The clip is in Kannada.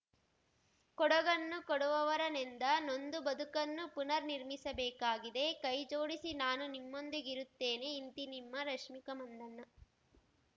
ಕೊಡಗನ್ನು ಕೊಡುವವರ ನೆಂದ ನೊಂದ ಬದುಕನ್ನು ಪುನರ್‌ ನಿರ್ಮಿಸಬೇಕಾಗಿದೆ ಕೈ ಜೋಡಿಸಿ ನಾನೂ ನಿಮ್ಮೊಂದಿಗಿರುತ್ತೇನೆ ಇಂತಿ ನಿಮ್ಮ ರಶ್ಮಿಕಾ ಮಂದಣ್ಣ